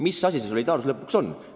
Mis asi see solidaarsus lõpuks on?